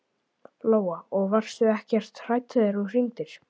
Lóa: Og varstu ekkert hrædd þegar þú hringdir?